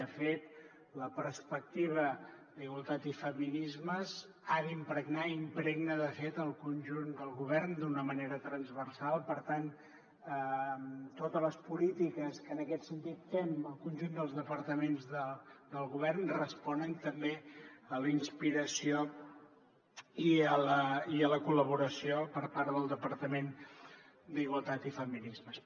de fet la perspectiva d’igualtat i feminismes ha d’impregnar i impregna de fet el conjunt del govern d’una manera transversal per tant totes les polítiques que en aquest sentit fem el conjunt dels departaments del govern responen també a la inspiració i a la col·laboració per part del departament d’igualtat i feminismes